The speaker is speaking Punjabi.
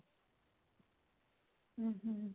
hm hm